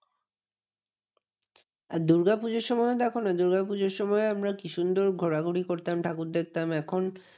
দূর্গা পুজোর সময় দেখো না? দুর্গাপুজোর সময় আমরা কি সুন্দর ঘোরাঘুরি করতাম ঠাকুর দেখতাম। এখন